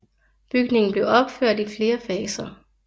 Bygningen blev opført i flere faser